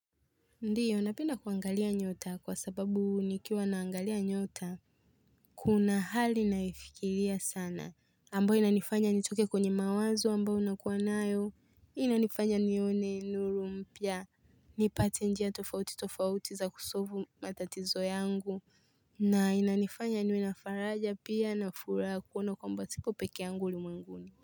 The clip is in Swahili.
Ndiyo napenda kuangalia nyota kwa sababu nikiwa naangalia nyota kuna hali naifikilia sana ambayo inanifanya nitokee kwenye mawazo ambao unakuwa nayo inanifanya nione nuru mpia nipate njia tofauti tofauti za kusofu matatizo yangu na inanifanya niwe na faraja pia nafuraa kuona kwamba sipo peke yangu ulimwenguni.